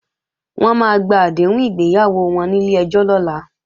Wọ́n máa gba àdéhùn ìgbéyàwó wọn nílé ẹjọ́ lọ́la